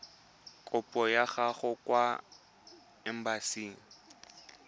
kopo ya gago kwa embasing